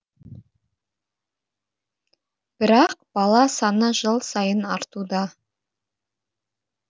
бірақ бала саны жыл сайын артуда